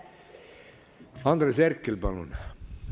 Andres Herkel, palun!